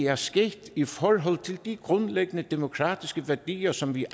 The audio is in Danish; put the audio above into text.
er sket i forhold til de grundlæggende demokratiske værdier som vi